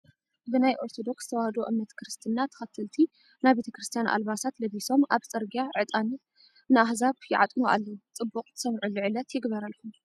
ብናይ ኦርቶዶክስ ተዋህዶ እምነት ክርስትና ተከተሊቲ ናይ ቤተ ክርስትያን ኣልባስ ለቢሶም ኣብ ፅግርጊያ ዕጣን ንኣህዛብ ይዓጥኑ ኣለው። ፅቡቅ ትሰምዑሉ ዕለት ይግበረልኩም።